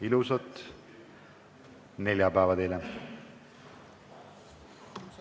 Ilusat neljapäeva teile!